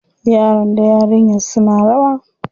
Yaron da yarinyar suna rawa.